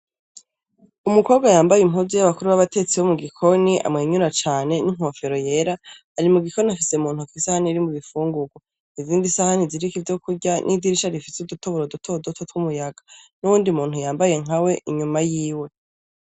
Umukobwa yambaye impuzu y'abakuru b'abatetsi bo mu gikoni amwenyura cane n'inkofero yera, ari mu gikoni afise mu ntoki isahani irimwo ibifungurwa. Ubundi isahani ziriko ivyo kurya, n'idirisha rifise udutoboro dutoduto tw'umuyaga n'uwundi muntu yambaye nkawe inyuma yiwe.